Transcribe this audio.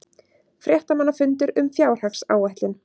Fréttamannafundur um fjárhagsáætlun